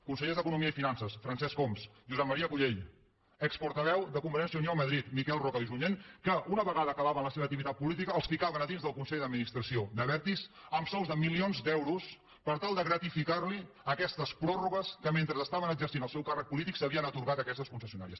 consellers d’economia i finances francesc homs josep maria cullell exportaveu de convergència i unió a madrid miquel roca i junyent que una vegada acabaven la seva activitat política els ficaven a dins del consell d’administració d’abertis amb sous de milions d’euros per tal de gratificar los aquestes pròrrogues que mentre estaven exercint el seu càrrec polític s’havien atorgat a aquestes concessionàries